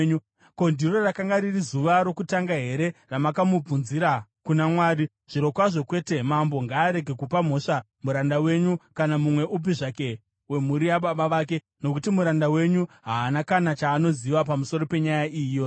Ko, ndiro rakanga riri zuva rokutanga here randakamubvunzira kuna Mwari? Zvirokwazvo kwete! Mambo ngaarege kupa mhosva muranda wenyu kana mumwe upi zvake wemhuri yababa vake, nokuti muranda wenyu haana kana chaanoziva pamusoro penyaya iyi yose.”